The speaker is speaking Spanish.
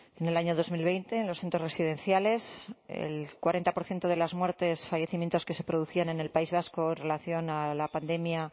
en el año dos mil veinte en los centros residenciales el cuarenta por ciento de las muertes fallecimientos que se producían en el país vasco en relación a la pandemia